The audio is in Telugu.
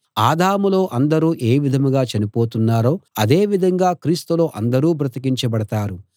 ఆదాములో అందరూ ఏ విధంగా చనిపోతున్నారో అదే విధంగా క్రీస్తులో అందరూ బ్రతికించబడతారు